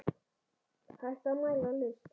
Hægt að mæla list?